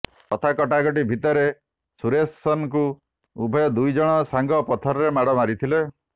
କଥା କଟା କଟି ଭିତରେ ସୁରେସନକୁ ଉଭୟ ଦୁଇଜଣ ସାଙ୍ଗ ପଥରରେ ମାଡ଼ ମାରିଥିଲେ